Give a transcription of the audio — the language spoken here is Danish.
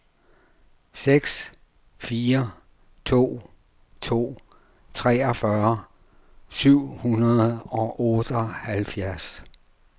seks fire to to treogfyrre syv hundrede og otteoghalvfjerds